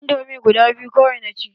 Indomi guda biyu kawai na ci.